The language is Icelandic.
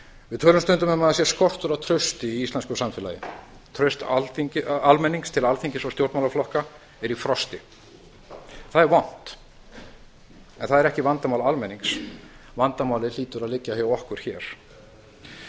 við tölum stundum um að það sé skortur á trausti í íslensku samfélagi traust almennings til alþingis og stjórnmálaflokka er í frosti það er vont en það er ekki vandamál almennings vandamálið hlýtur að liggja hjá okkur hér